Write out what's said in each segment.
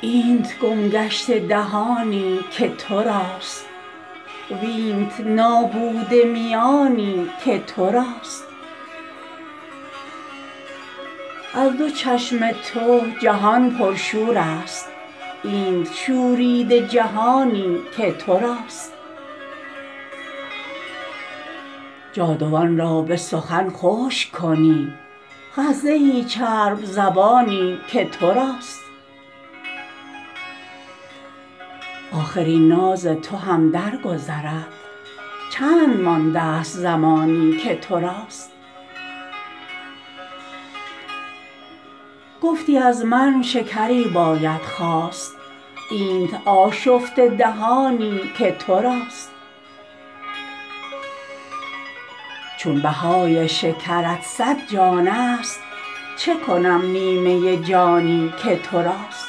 اینت گم گشته دهانی که توراست وینت نابوده میانی که توراست از دو چشم تو جهان پرشور است اینت شوریده جهانی که توراست جادوان را به سخن خشک کنی خه زهی چرب زبانی که توراست آخر این ناز تو هم در گذرد چند مانده است زمانی که توراست گفتی از من شکری باید خواست اینت آشفته دهانی که توراست چون بهای شکرت صد جان است چه کنم نیمه جانی که توراست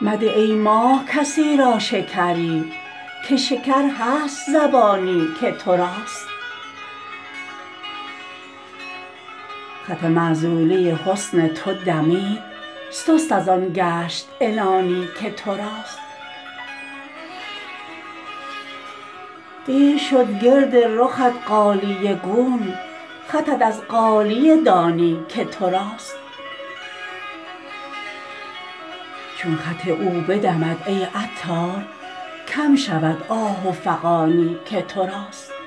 مده ای ماه کسی را شکری که شکر هست زبانی که توراست خط معزولی حسن تو دمید سست ازآن گشت عنانی که توراست قیر شد گرد رخت غالیه گون خطت از غالیه دانی که توراست چون خط او بدمد ای عطار کم شود آه و فغانی که توراست